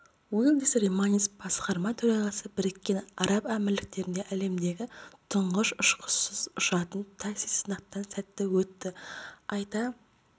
улдис рейманис басқарма төрағасы біріккен араб әмірліктерінде әлемдегі тұңғыш ұшқышсыз ұшатын такси сынақтан сәтті өтті айта